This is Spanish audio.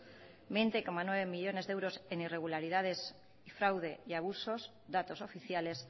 veinte coma nueve millónes de euros en irregularidades y fraude y abusos datos oficiales